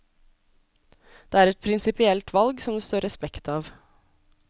Det er et prinsipielt valg som det står respekt av.